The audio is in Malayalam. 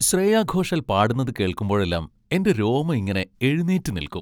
ശ്രേയാ ഘോഷാൽ പാടുന്നത് കേൾക്കുമ്പോഴെല്ലാം എൻ്റെ രോമം ഇങ്ങനെ എഴുന്നേറ്റ് നിൽക്കും.